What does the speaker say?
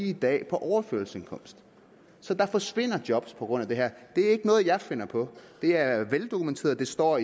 i dag er på overførselsindkomst så der forsvinder job på grund af det her det er ikke noget jeg finder på det er veldokumenteret det står